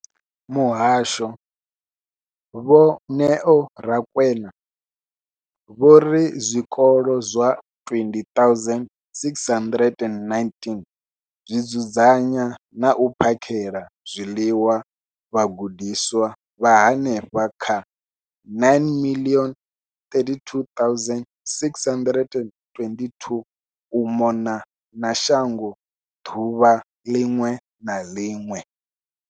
Muhasho, Vho Neo Rakwena, vho ri zwikolo zwa 20 619 zwi dzudzanya na u phakhela zwiḽiwa vhagudiswa vha henefha kha 9 032 622 u mona na shango ḓuvha ḽiṅwe na ḽiṅwe.